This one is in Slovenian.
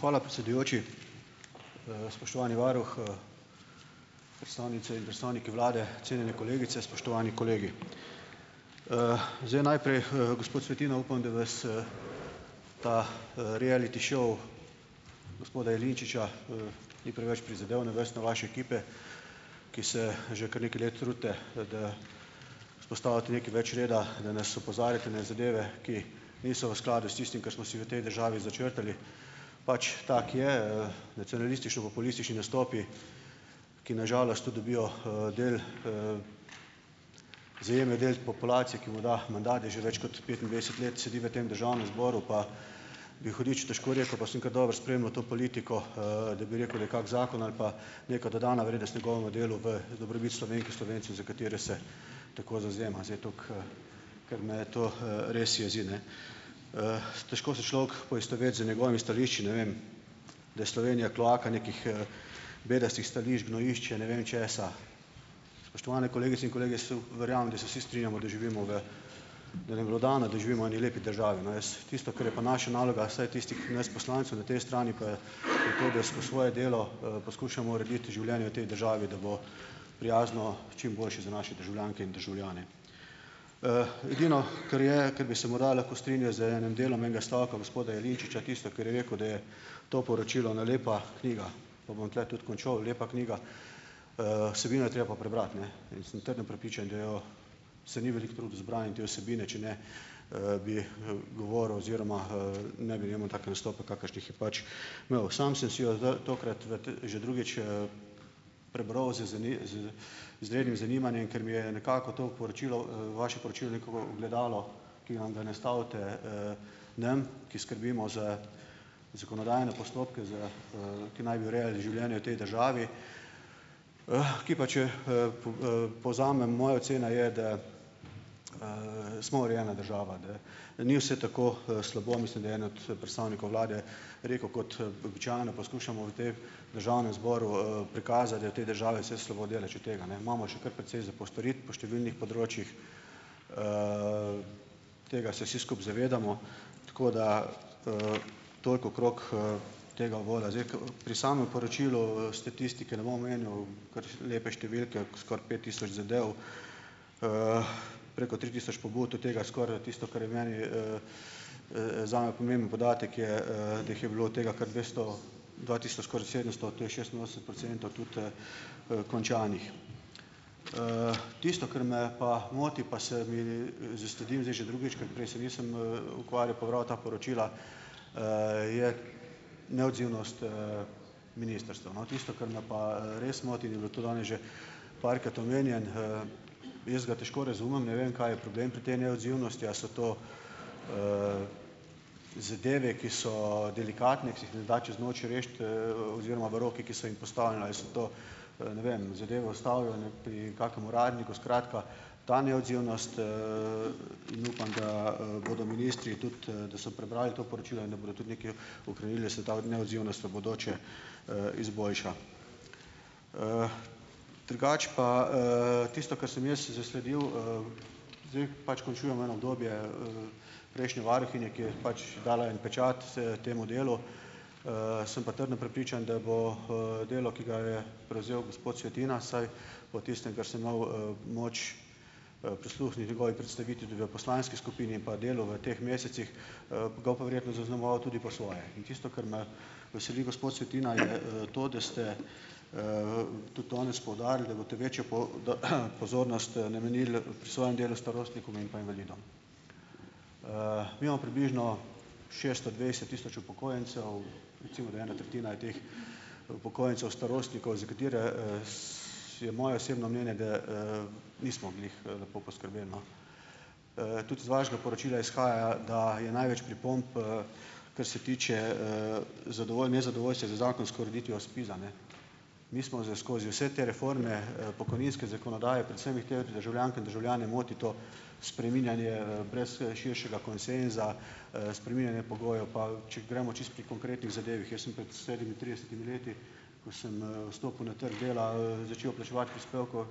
Hvala predsedujoči. Spoštovani varuh predstavnice in predstavniki vlade, cenjene kolegice, spoštovani kolegi! Zdaj najprej, gospod Svetina, upam, da vas ta reality šov gospoda Jelinčiča ni preveč prizadel, ne vas, ne vaše ekipe, ki se že kar nekaj let trudite, da vzpostavite nekaj več reda, da nas opozarjate na zadeve, ki niso v skladu s tistim, kar smo si v tej državi začrtali. Pač, tako je, nacionalistično-populistični nastopi, ki na žalost tu dobijo del del populacije, ki mu da mandat, da že več kot petindvajset let sedi v tem državnem zboru, pa bi hudič težko rekel, pa sem kar dobro spremljal to politiko da bi rekel, da je kak zakon ali pa neka dodana vrednost njegovemu delu v dobrobit Slovenk in Slovencev, za katere se tako zavzema. Zdaj tako ker me to res jezi, ne. Težko se človek poistoveti z njegovimi stališči, ne vem, da je Slovenija kloaka nekih bedastih stališč, gnojišče ne vem česa. Spoštovane kolegice in kolegi, jaz verjamem, da se vsi strinjamo, da živimo v, da nam je bilo dano, da živimo v eni lepi državi, no. Jaz tisto, kar je pa naša naloga, vsaj tistih nas poslancev na tej strani pa je to, da skozi svoje delo poskušamo urediti življenje v tej državi, da bo prijazno, čim boljše za naše državljanke in državljane. Edino, kar je, kar bi se morda lahko strinjal z enim delom enega stavka gospoda Jelinčiča, tisto, kar je rekel, da je to poročilo ena lepa knjiga. Pa bom tule tudi končal, lepa knjiga. vsebino je treba pa prebrati, ne, in sem trdno prepričan, da jo se ni veliko trudil z branjem te vsebine, če ne bi govoril oziroma ne bi imel takih kakršnih je pač imel. Samo sem si jo z tokrat v že drugič zanimanjem, ker mi je nekako to poročilo, vaše poročilo neko ogledalo, ki ga nastavite nam, ki skrbimo za zakonodajne postopke za, ki naj bi urejali življenje v tej državi, ki pa, če povzamem. Moja ocena je, da smo urejena država, da ni vse tako slabo. Mislim, da je en od predstavnikov vlade rekel, kot poskušamo v tej Državnem zboru prikazati, da je v tej državi vse slabo. Daleč od tega, ne. Imamo še kar precej za postoriti po številnih področjih. Tega se vsi skupaj zavedamo, tako da toliko okrog tega uvoda. Zdaj pri samem poročilu statistike ne bom omenjal, kar lepe številke, skoraj pet tisoč zadev, preko tri tisoč pobud, od tega skoraj tisto, kar je meni zame pomemben podatek, je, da jih je bilo od tega kar dvesto dva tisoč, skoraj sedemsto, to je šestinosemdeset procentov, tudi končanih. Tisto, kar me pa moti, pa sem i zasledil zdaj že drugič, ker prej se nisem ukvarjal pa bral ta poročila, je neodzivnost ministrstev. No, tisto, kar me pa res moti, in je bilo tudi danes že parkrat omenjeno, jaz ga težko razumem, ne vem, kaj je problem pri tej neodzivnosti. A so to zadeve, ki so delikatne, ki se jih ne da čez noč rešiti oziroma v rokih, ki so jim postavljena, so to, ne vem zadeve ustavljene pri kakšnem uradniku. Skratka, ta neodzivnost in upam, da bodo ministri tudi, da so prebrali to poročilo in da bodo tudi nekaj ukrenili, da se ta neodzivnost v bodoče izboljša. Drugače pa tisto, kar sem jaz zasledil, zdaj pač končujemo eno obdobje prejšnje varuhinje, ki je pač dala en pečat temu delu, sem pa trdno prepričan, da bo delo, ki ga je prevzel gospod Svetina, vsaj po tistem, kar sem imel moč prisluhniti njegovi predstavitvi tudi v poslanski skupini, pa delu v teh mesecih, ga bo pa verjetno zaznamoval tudi po svoje. In tisto, kar me veseli, gospod Svetina, je to, da ste tudi danes poudarili, da boste večjo pozornost namenili pri svojem delu starostnikom in pa invalidom. Mi imamo približno šesto dvajset tisoč upokojencev, recimo, da ena tretjina je teh upokojencev starostnikov, za katere je moje osebno mnenje, da nismo glih lepo poskrbeli, no. Tudi z vašega poročila izhaja, da je največ pripomb kar se tiče nezadovoljstva z zakonsko ureditvijo SPIZ-a, ne. Mi smo z skozi vse te reforme pokojninske zakonodaje - predvsem državljanke in državljane moti to spreminjanje brez širšega konsenza, spreminjanje pogojev. Pa če gremo čisto pri konkretnih zadevah. Jaz sem pred sedemintridesetimi leti, ko sem vstopil na trg dela začel plačevati prispevke,